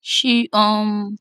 she um